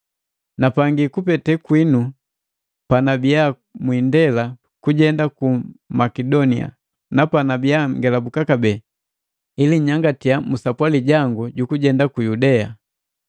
Napangi kupete kwinu panabiya mwiindela kujenda ku Makedonia, na panabiya ngelabuka kabee, ili nnyangatiya musapwali jangu jukujenda ku Yudea.